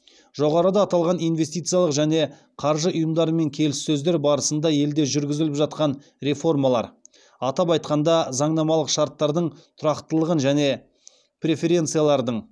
жоғарыда аталған инвестициялық және қаржы ұйымдарымен келіссөздер барысында елде жүргізіліп жатқан реформалар атап айтқанда заңнамалық шарттардың тұрақтылығын және преференциялардың